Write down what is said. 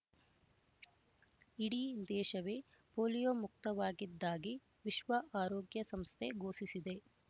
ಇಡೀ ದೇಶವೇ ಪೋಲಿಯೊ ಮುಕ್ತವಾಗಿದ್ದಾಗಿ ವಿಶ್ವ ಆರೋಗ್ಯ ಸಂಸ್ಥೆ ಘೋಷಿಸಿದೆ